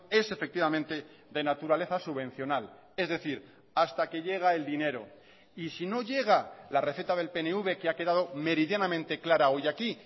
es efectivamente de naturaleza subvencional es decir hasta que llega el dinero y si no llega la receta del pnv que ha quedado meridianamente clara hoy aquí